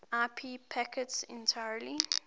ip packets entirely